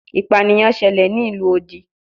Ipaniyan ṣẹlẹ ni ilu odi